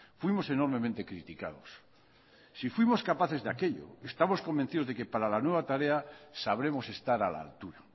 fuimos enormemente criticados si fuimos capaces de aquello estamos convencidos de que para la nueva tarea sabremos estar a la altura